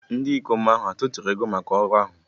Ndị ikom ahụ hà atụrụ ego maka ọrụ ahụ?